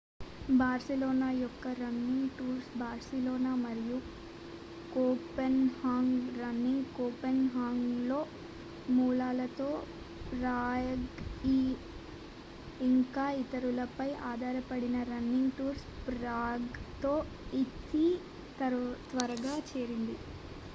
Barcelona యొక్క running tours Barcelona మరియు Copenhagen running కోపెన్హాగన్లో మూలాలతో ప్రాగ్ఇ ఇంకా ఇతరులపై ఆధారపడిన రన్నింగ్ టూర్స్ ప్రేగ్తో ఇది త్వరగా చేరింది